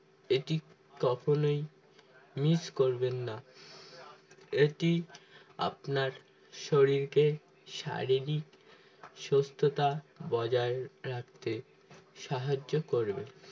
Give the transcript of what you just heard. এটি কখনোই miss করবেন না এটি আপনার শরীরকে শারীরিক সুস্থতা বজায় রাখতে সাহায্য করবে